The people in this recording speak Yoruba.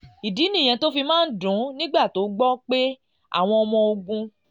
ìdí nìyẹn tó fi máa ń dùn ún nígbà tó ń gbọ́ pé àwọn ọmọ ogun